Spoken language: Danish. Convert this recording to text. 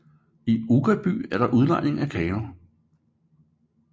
I Uggerby er der udlejning af kano